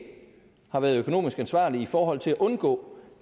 har været økonomisk ansvarlig i forhold til at undgå